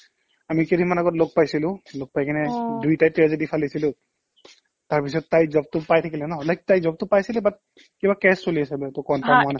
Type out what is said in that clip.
আমি কেইদিনমান আগত লগ পাইছিলো লগ পাইকিনে অ দুইটাই tragedy ফালিছিলো তাৰপিছত তাই job টো পাই থাকিলে ন like তাই job টো পাইছিলে but কিবা কেচ চলি আছে